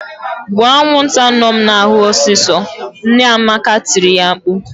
"Gbuo anwụnta nọ m n'ahụ ọsịsọ!" Nne Amaka tiri ya mkpu..